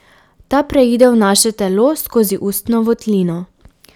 Ta preide v naše telo skozi ustno votlino.